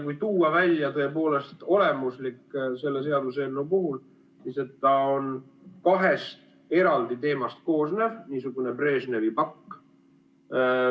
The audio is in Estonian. Kui tuua välja tõepoolest olemuslik selle seaduseelnõu puhul, siis see on kahest eraldi teemast koosnev nn Brežnevi pakk.